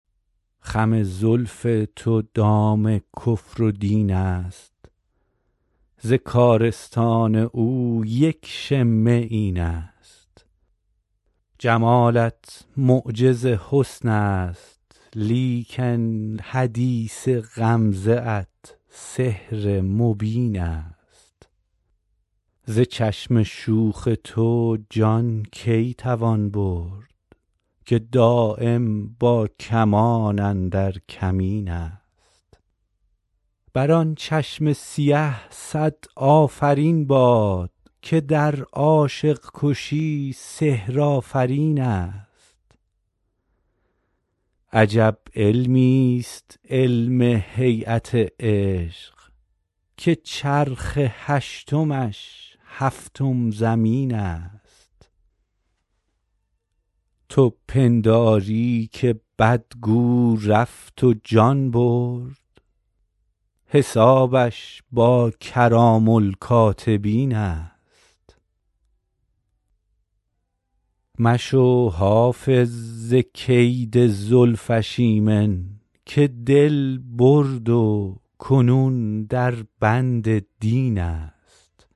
خم زلف تو دام کفر و دین است ز کارستان او یک شمه این است جمالت معجز حسن است لیکن حدیث غمزه ات سحر مبین است ز چشم شوخ تو جان کی توان برد که دایم با کمان اندر کمین است بر آن چشم سیه صد آفرین باد که در عاشق کشی سحرآفرین است عجب علمیست علم هییت عشق که چرخ هشتمش هفتم زمین است تو پنداری که بدگو رفت و جان برد حسابش با کرام الکاتبین است مشو حافظ ز کید زلفش ایمن که دل برد و کنون در بند دین است